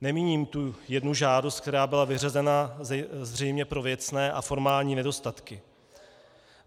Nemíním tu jednu žádost, která byla vyřazena zřejmě pro věcné a formální nedostatky.